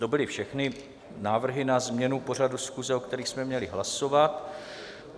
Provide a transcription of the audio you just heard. To byly všechny návrhy na změnu pořadu schůze, o kterých jsme měli hlasovat.